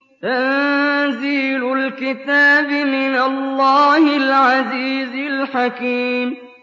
تَنزِيلُ الْكِتَابِ مِنَ اللَّهِ الْعَزِيزِ الْحَكِيمِ